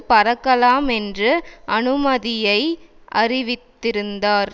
பறக்கலாம் என்று அனுமதியை அறிவித்திருந்தார்